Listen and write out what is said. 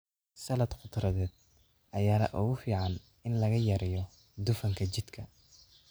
Salad khudradeed ayaa ugu fiican in la yareeyo dufanka jidhka.